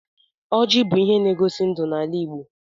Ọjị bụ ihe n'egosi ndụ n'ala Igbo.